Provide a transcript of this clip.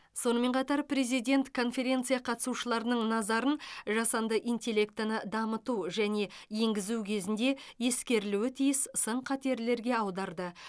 сонымен қатар президент конференция қатысушыларының назарын жасанды интеллектіні дамыту және енгізу кезінде ескерілуі тиіс сын қатерлерге аударды